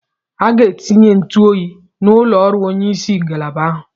A ga-etinye ntụ oyi n'ụlọ ọrụ onyeisi ngalaba ahụ.